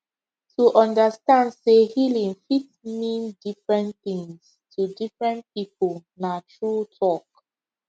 to understand say healing fit mean different things to different people na true talk